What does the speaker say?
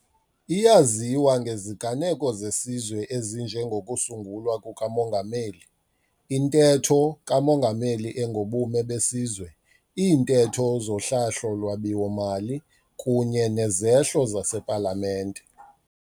Iyaziwa ngeziganeko zesizwe ezinje ngokusungulwa kukaMongameli, iNtetho kaMongameli engoBume beSizwe, iiNtetho zoHlahlo-lwabiwo mali, kunye nezehlo zasePalamente.